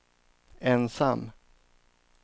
ensam